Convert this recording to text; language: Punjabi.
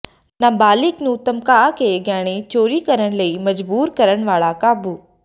ਨਾਬਾਲਿਗ ਨੂੰ ਧਮਕਾ ਕੇ ਗਹਿਣੇ ਚੋਰੀ ਕਰਨ ਲਈ ਮਜ਼ਬੂਰ ਕਰਨ ਵਾਲਾ ਕਾਬੂ